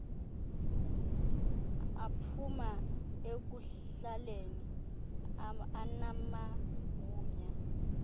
aphuma ekuhlaleni anamagunya